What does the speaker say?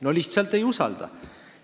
No lihtsalt ei usalda!